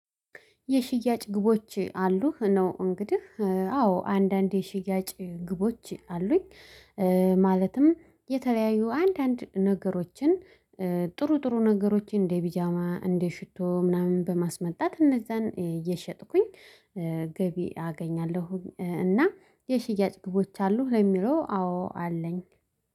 የሽያጭ ግቦች አሉህ? ነው እንግዲህ አዎ አንዳንዴ ሽያጭ ግቦች አሉኝ እ ማለትም የተለያዩ አንዳንድ ነገሮችን እ ጥሩ ጥሩ ነገሮችን እንደ ቢጃማ እንደ ሽቶ ምናምን በማስመጣት እነዛን እየሸጥኩኝ እ ገቢ አገኛለሁ እና የሽያጭ ግቦች አሉህ ለሚለው አዎ አለኝ።